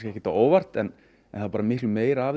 ekki á óvart en það er miklu meira